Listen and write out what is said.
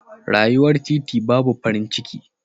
Rayuwar titi babu farin ciki.